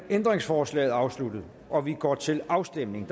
ændringsforslaget afsluttet og vi går til afstemning